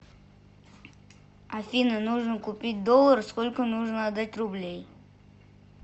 афина нужно купить доллар сколько нужно отдать рублей